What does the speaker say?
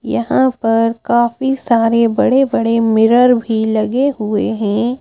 यहां पर काफी सारे बड़े बड़े मिरर भी लगे हुए हैं।